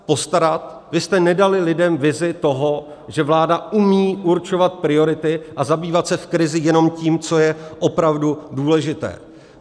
Vy jste nedali lidem vizi toho, že vláda umí určovat priority a zabývat se v krizi jenom tím, co je opravdu důležité.